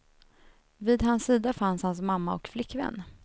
Vid hans sida fanns hans mamma och flickvän.